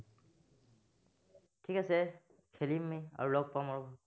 ঠিক আছে, খেলিম আমি, আৰু লগ পাম আৰু।